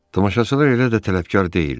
Tamaşaçılar elə də tələbkar deyildi.